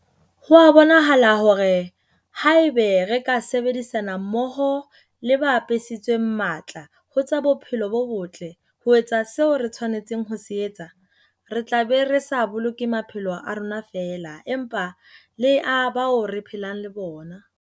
Ho a bonahala hore haeba re ka sebedisana mmoho le ba apesitsweng matla ho tsa bophelo bo botle ho etsa seo re tshwanetseng ho se etsa, re tla be re sa boloke maphelo a rona feela, empa le a bao re phelang le bona.